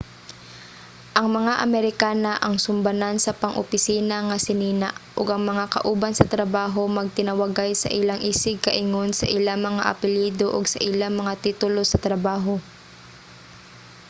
ang mga amerikana ang sumbanan sa pang-opisina nga sinina ug ang mga kauban sa trabaho magtinawagay sa ilang isig ka-ingon sa ilang mga apelyido o sa ilang mga titulo sa trabaho